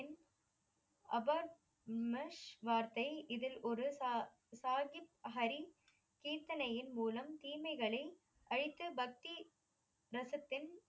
இம்மஷ் வார்த்தை இதில் ஒரு சாஹிப்ஹரி கீர்த்தனையின் மூலம் தீமைகளை அழித்து பக்தி வசத்தில்